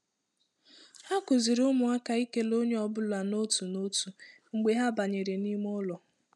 Ha kụziri ụmụaka ikele onye ọ bụla n'otu n'otu mgbe ha banyere n'ime ụlọ.